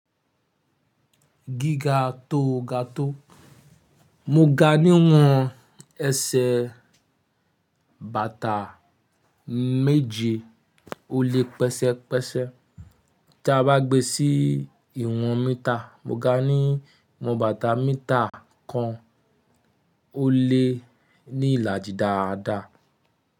Gíga tó ga tó, mo ga ní ìwọ̀n ẹsẹ̀ bàtà méje ó lé pẹ́sẹ́pẹ́sẹ́ tí a bá gbé sí ìwọ̀n mítà. Mo ga ní ìwọ̀n bàtà mítà kan ó lé ní ìlàjì dáadáa.